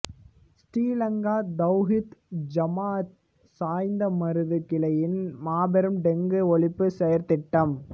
ஸ்ரீ லங்கா தவ்ஹீத் ஜமாஅத் சாய்ந்தமருது கிளையின் மாபெரும் டெங்கு ஒழிப்பு செயற்திட்டம்